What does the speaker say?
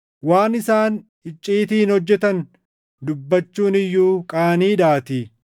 Waan isaan icciitiin hojjetan dubbachuun iyyuu qaaniidhaatii.